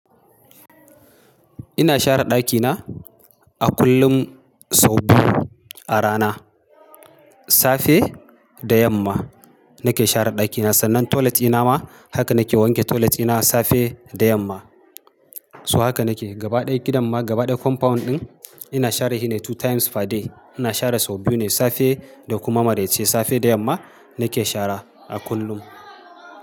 Ina share ɗakina a kullum sau biyu a rana. Safe da yamma nake share ɗakina, sannan toilet dina ma haka nake wanke toiletdina safe da yamma. So haka nake gabaɗaya gidan ma gaba ɗaya compound ɗin ina share shi ne two times per day. Ina share sau biyu ne safe da kuma maraice, safe da yamma nake sharewa a kullum.